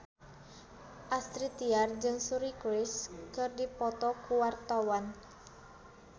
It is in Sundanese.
Astrid Tiar jeung Suri Cruise keur dipoto ku wartawan